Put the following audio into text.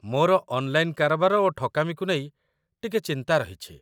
ମୋର ଅନ୍‌ଲାଇନ୍‌ କାରବାର ଓ ଠକାମିକୁ ନେଇ ଟିକେ ଚିନ୍ତା ରହିଛି